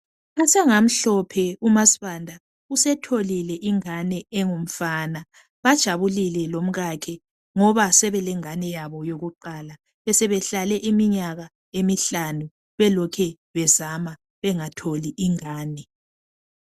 Asengamhlophe kuMaSibanda usetholile ingani engumfana. Bajabulile lomkakhe ngoba sebelengane yabo yokuqala. Besebehlale iminyaka emihlanu belokhe bezama bengatholi ingani